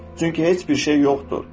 Çünki heç bir şey yoxdur.